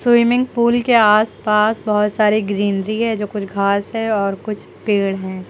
Swimming pool के आसपास बहोत सारे ग्रीनरी है जो कुछ घास है और कुछ पेड़ हैं।